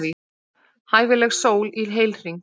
Hæfileg sól í heilhring.